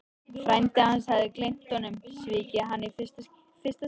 Frændi hans hafði gleymt honum, svikið hann í fyrsta sinn.